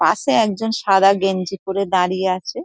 পাশে একজন সাদা গেঞ্জি পরে দাঁড়িয়ে আছে ।